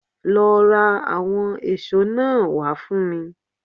Lọ ra àwọn èso náà wá fún mi